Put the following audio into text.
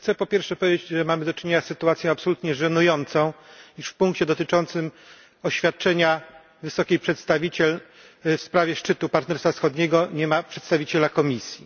Chcę po pierwsze powiedzieć, że mamy do czynienia z sytuacją absolutnie żenującą, iż w punkcie dotyczącym oświadczenia wysokiej przedstawiciel w sprawie szczytu Partnerstwa Wschodniego nie ma przedstawiciela Komisji.